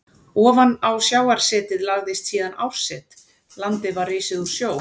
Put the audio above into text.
Ofan á sjávarsetið lagðist síðan árset, landið var risið úr sjó.